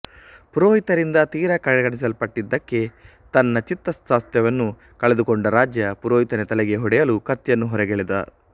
ಪುರೋಹಿತರಿಂದ ತೀರಾ ಕಡೆಗಣಿಸಲ್ಪಟ್ಟಿದ್ದಕ್ಕೆ ತನ್ನ ಚಿತ್ತಸ್ವಾಸ್ಥ್ಯವನ್ನು ಕಳೆದುಕೊಂಡ ರಾಜ ಪುರೋಹಿತನ ತಲೆಗೆ ಹೊಡೆಯಲು ಕತ್ತಿಯನ್ನು ಹೊರಗೆಳೆದ